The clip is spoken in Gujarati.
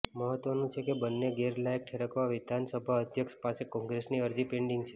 મહત્વનું છે કે બંનેને ગેરલાયક ઠેરવવા વિધાનસભા અધ્યક્ષ પાસે કોંગ્રેસની અરજી પેન્ડિંગ છે